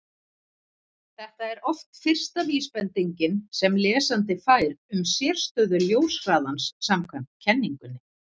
Þetta er oft fyrsta vísbendingin sem lesandi fær um sérstöðu ljóshraðans samkvæmt kenningunni.